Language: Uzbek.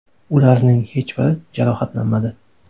Ularning hech biri jarohatlanmadi.